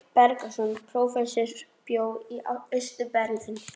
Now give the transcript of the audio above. Sveinn Bergsveinsson prófessor bjó í Austur-Berlín.